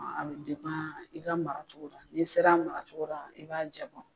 i ka maracogo la, ni sera maracogo la, i b'a jabɔ